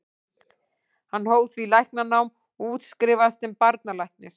Hann hóf því læknanám og útskrifaðist sem barnalæknir.